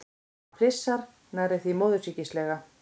Hann flissar, nærri því móðursýkislega.